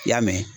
I y'a mɛn